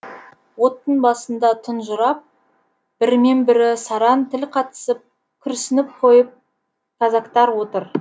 оттың басында тұнжырап бірімен бірі сараң тіл қатысып күрсініп қойып казактар отыр